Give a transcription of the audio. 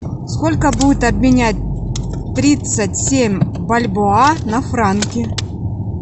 сколько будет обменять тридцать семь бальбоа на франки